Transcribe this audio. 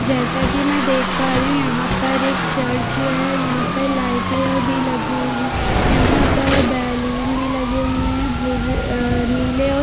जैसा की मै देख पा रही हूँ यहाँ पर एक चर्च है यहाँ पर लाइटे भी लगी है यहाँ पर बेलून भी लगे हुए है भूरे नीले और--